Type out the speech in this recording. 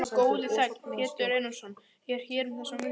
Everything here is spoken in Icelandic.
Minn góði þegn, Pétur Einarsson, er hér um þessar mundir.